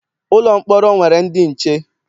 Ụlọ mkpọrọ nwere ndị nche.